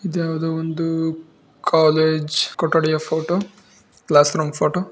ಇದ್ಯಾವುದೋ ಒಂದು ಕಾಲೇಜ್ ಕೊಠಡಿಯ photo classroom photo .